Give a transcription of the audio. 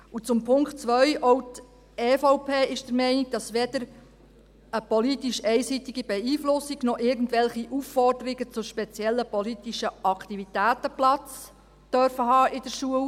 Und zum Punkt 2: Auch die EVP ist der Meinung, dass weder eine politisch einseitige Beeinflussung noch irgendwelche Aufforderungen zu speziellen politischen Aktivitäten Platz haben dürfen in der Schule.